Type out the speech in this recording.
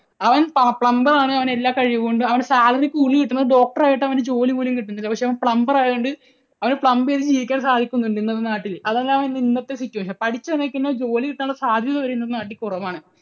അവൻ plumber ആണ്. അവന് എല്ലാ കഴിവും ഉണ്ട്. അവന് salary കൂടുതൽ കിട്ടുന്നത്, doctor ആയിട്ട് അവന് ജോലി പോലും കിട്ടുന്നില്ല. പക്ഷേ അവൻ plumber ആയതുകൊണ്ട് അവനെ plumb ചെയ്ത് ജീവിക്കാൻ സാധിക്കുന്നുണ്ട് നാട്ടിൽ. അതെല്ലാം ആണ് ഇന്നത്തെ situation. പഠിച്ച് നിൽക്കുന്നവർക്ക് ജോലി കിട്ടാനുള്ള സാധ്യത വരെ ഇന്ന് നാട്ടിൽ കുറവാണ്